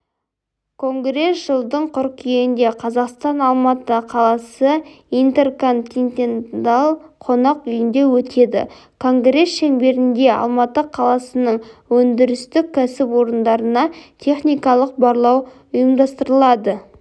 конгресс жылдың қыркүйегінде қазақстан алматы қаласы интерконтиненталь қонақ үйінде өтеді конгресс шеңберінде алматы қаласының өндірістік кәсіпорындарына техникалық барлау ұйымдастырылады